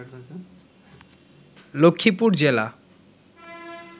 লক্ষ্মীপুর জেলা